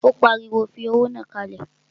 Ó pariwo, fi owó náà kalẹ̀!